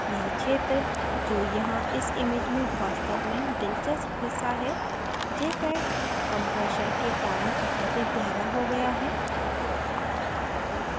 यह क्षेत्र जो यहाँ इस image में वास्तव में दिलचस्प हिस्सा है jpeg compression के कारण अत्यधिक गहरा हो गया है